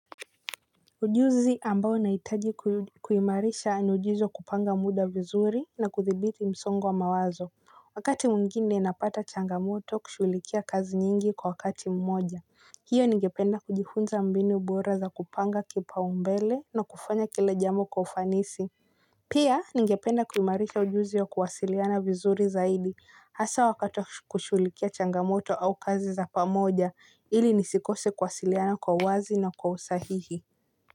Ujuzi ambao nahitaji kuimarisha ni ujuzi wa kupanga muda vizuri na kuthibiti msongi wa mawazo. Wakati mwingine napata changamoto kushughulikia kazi nyingi kwa wakati mmoja. Hiyo ningependa kujifunza mbinu bora za kupanga kipaumbele na kufanya kila jambo kwa ufanisi. Pia ningependa kuimarisha ujuzi wa kuwasiliana vizuri zaidi hasa wakati wa kuushughulikia changamoto au kazi za pamoja ili nisikose kuwasiliana kwa uwazi na kwa usahihi.